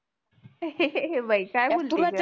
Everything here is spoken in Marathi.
हे बाई काय बोलती ग